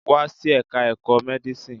Wá sí Ẹ̀ka-ẹ̀kọ́ Medicine.